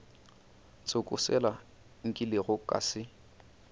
tsoko sela nkilego ka se